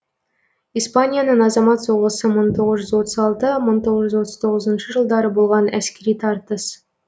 испанияның азамат соғысы мың тоғыжүз отыз алты мың тоғыз жүз отыз тоғызыншы жылдары болған әскери тартыс